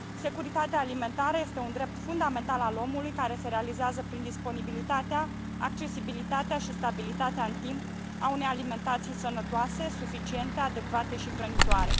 Securitatea alimentară este un drept fundamental al omului, care se realizează prin disponibilitatea, accesibilitatea și stabilitatea în timp a unei alimentații sănătoase, suficiente, adecvate și hrănitoare.